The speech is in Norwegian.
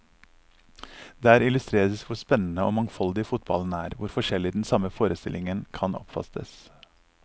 Der illustreres hvor spennende og mangfoldig fotballen er, hvor forskjellig den samme forestillingen kan oppfattes.